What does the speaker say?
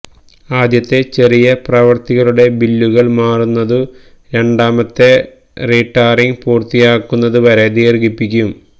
ആദ്യത്തെ ചെറിയ പ്രവൃത്തികളുടെ ബില്ലുകള് മാറുന്നതു രണ്ടാമത്തെ റീടാറിങ് പൂര്ത്തിയാകുന്നതുവരെ ദീര്ഘിപ്പിക്കും